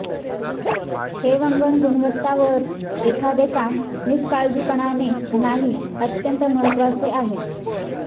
हे वंगण गुणवत्ता वर एखादे काम निष्काळजीपणाने नाही अत्यंत महत्वाचे आहे